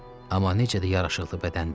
Amma necə də yaraşıqlı bədəndir.